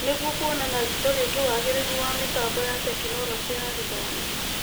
Nĩguo kuona na ritho rĩngĩ wagĩrĩru wa mĩtambo ya Tekinoronjĩ ya Gĩthomo.